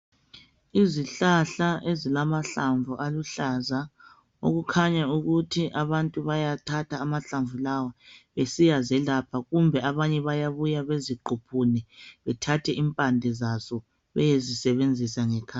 Izihlahla ezilamahlamvu aluhlaza okukhanya ukuthi abantu bayathatha amahlamvu lawa besiya zelapha kumbe abanye bayabuya beziquphune bethathe impande zazo beyezi sebenzisa ngekhaya.